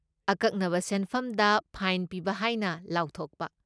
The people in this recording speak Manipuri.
ꯑꯀꯛꯅꯕ ꯁꯦꯟꯐꯝꯗ ꯐꯥꯏꯟ ꯄꯤꯕ ꯍꯥꯏꯅ ꯂꯥꯎꯊꯣꯛꯄ꯫